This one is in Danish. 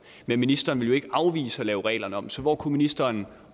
men ministeren vil jo ikke afvise at lave reglerne om så hvor kunne ministeren